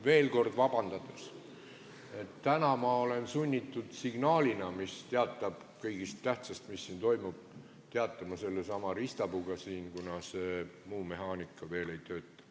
Veel kord vabandust paludes, et täna ma olen sunnitud signaalina kõigest tähtsast, mis toimub, teatama sellesama riistapuuga siin, kuna muu mehaanika veel ei tööta.